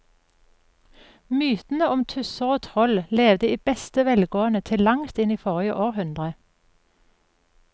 Mytene om tusser og troll levde i beste velgående til langt inn i forrige århundre.